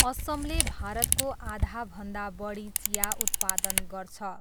असमले भारतको आधाभन्दा बढी चिया उत्पादन गर्छ।